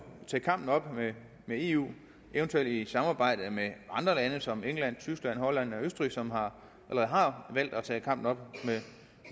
tage kampen op med eu eventuelt i samarbejde med andre lande som england tyskland holland eller østrig som har valgt at tage kampen op med